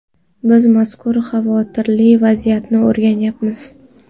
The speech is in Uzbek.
Biz mazkur xavotirli vaziyatni o‘rganyapmiz.